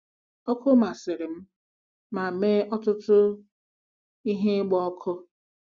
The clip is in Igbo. Ọkụ masịrị m ma mee ọtụtụ ihe ịgba ọkụ.